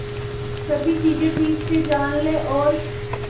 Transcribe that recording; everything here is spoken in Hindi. सभी चीजें ठीक से जान ले और